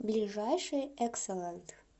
ближайший экселент